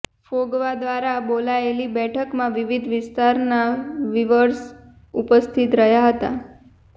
ફોગવા દ્વારા બોલાવાયેલી બેઠકમાં વિવિધ વિસ્તારના વીવર્સ ઉપસ્થિત રહ્યા હતા